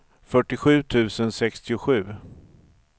fyrtiosju tusen sextiosju